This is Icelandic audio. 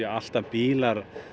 alltaf bílar